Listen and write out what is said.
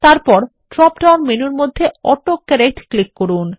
তারপর drop down মেনুর মধ্যে অটো কারেক্ট ক্লিক করুন